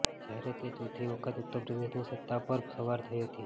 જ્યારે તે ચોથી વખત ઉત્તરપ્રદેશની સતા પર સવાર થઈ હતી